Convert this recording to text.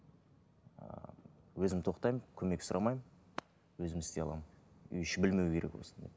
ы өзім тоқтаймын көмек сұрамаймын өзім істей аламын үй іші білмеу керек осыны